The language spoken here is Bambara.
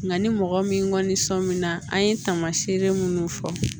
Nka ni mɔgɔ min kɔni sɔnminna an ye taamaseere minnu fɔ